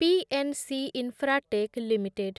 PNC Infratech limited